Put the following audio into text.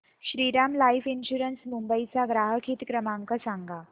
Shriram life insurance Mumbai चा ग्राहक हित क्रमांक सांगा